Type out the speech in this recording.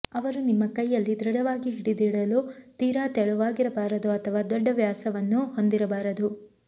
ಅವರು ನಿಮ್ಮ ಕೈಯಲ್ಲಿ ದೃಢವಾಗಿ ಹಿಡಿದಿಡಲು ತೀರಾ ತೆಳುವಾಗಿರಬಾರದು ಅಥವಾ ದೊಡ್ಡ ವ್ಯಾಸವನ್ನು ಹೊಂದಿರಬಾರದು